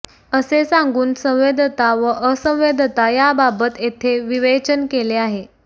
असे सांगून संवेद्यता व असंवेद्यता याबाबत येथे विवेचन केले आहे